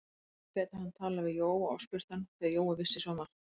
Nú gæti hann talað við Jóa og spurt hann, því að Jói vissi svo margt.